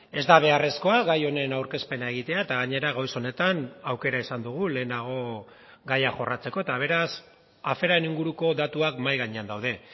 ez da beharrezkoa gai honen aurkezpena egitea eta gainera goiz honetan aukera izan dugu lehenago gaia jorratzeko eta beraz aferaren inguruko datuak mahai gainean daude